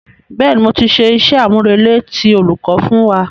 Bẹ́ẹ̀ni, mo ti ṣe iṣẹ́-àmúrelé tí olùkọ́ fún wa.